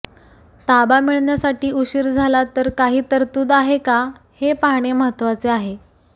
ताबा मिळण्यासाठी उशीर झाला तर काही तरतूद आहे का हे पाहणे महत्त्वाचे आहे